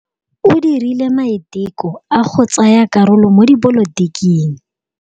O dirile maitekô a go tsaya karolo mo dipolotiking.